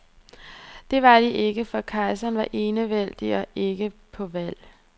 Det var de ikke, for kejserne var enevældig og ikke på valg.